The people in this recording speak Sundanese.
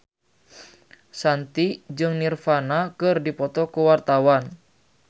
Shanti jeung Nirvana keur dipoto ku wartawan